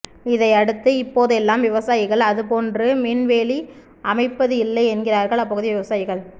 இதையடுத்து இப்போதெல்லாம் விவசாயிகள் அதுபோன்று மின் வேலி அமைப்பது இல்லை என்கிறார்கள் அப்பகுதி விவசாயிகள்